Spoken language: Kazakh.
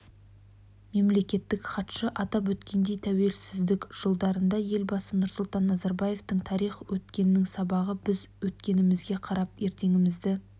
мемлекеттік хатшы атап өткендей тәуелсіздік жылдарында елбасы нұрсұлтан назарбаевтың тарих өткеннің сабағы біз өткенімізге қарап ертеңімізді